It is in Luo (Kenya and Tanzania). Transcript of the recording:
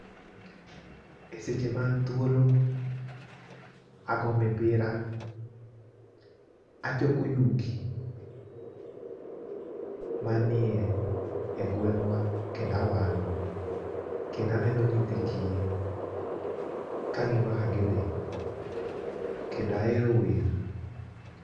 Eseche ma an thuolo ago mipira, achoko yugi manie gweng'wa kendo awang'o kendo aneno nyithi kiye kaneno kaka gidhi kendo ahero wer.